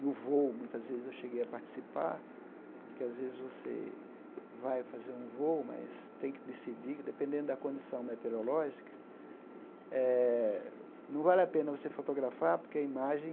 No voo, muitas vezes eu cheguei a participar, porque às vezes você vai fazer um voo, mas tem que decidir, dependendo da condição meteorológica eh, não vale a pena você fotografar, porque a imagem